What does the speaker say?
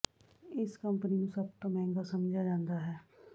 ਇਸ ਕੰਪਨੀ ਨੂੰ ਸਭ ਤੋਂ ਮਹਿੰਗਾ ਸਮਝਿਆ ਜਾਂਦਾ ਹੈ